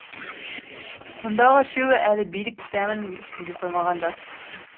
мұндағы үшеуі әлі билік дәмін сезе қоймаған жас